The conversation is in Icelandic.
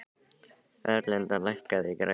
Erlinda, lækkaðu í græjunum.